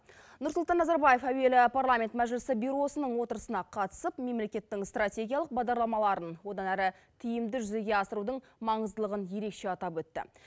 нұрсұлтан назарбаев әуелі парламент мәжілісі бюросының отырысына қатысып мемлекеттің стратегиялық бағдарламаларын одан әрі тиімді жүзеге асырудың маңыздылығын ерекше атап өтті